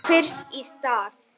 Bara fyrst í stað.